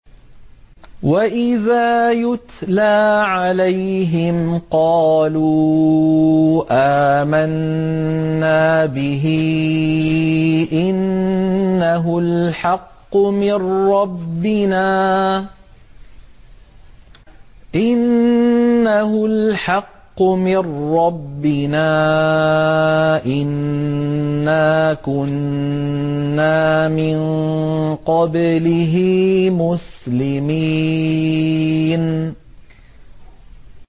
وَإِذَا يُتْلَىٰ عَلَيْهِمْ قَالُوا آمَنَّا بِهِ إِنَّهُ الْحَقُّ مِن رَّبِّنَا إِنَّا كُنَّا مِن قَبْلِهِ مُسْلِمِينَ